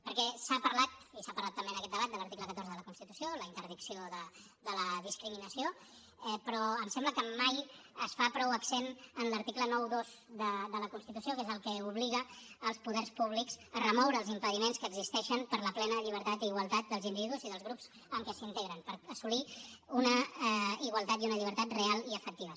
perquè s’ha parlat i s’ha parlat també en aquest debat de l’article catorze de la constitució la interdicció de la discriminació però em sembla que mai es fa prou accent en l’article noranta dos de la constitució que és el que obliga els poders públics a remoure els impediments que existeixen per a la plena llibertat i igualtat dels individus i dels grups en què s’integren per assolir una igualtat i una llibertat reals i efectives